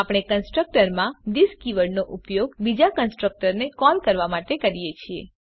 આપણે કન્સ્ટ્રકટર માં થિસ કીવર્ડનો ઉપયોગ બીજા કન્સ્ટ્રકટરને કોલ કરવાં માટે કરી શકીએ છીએ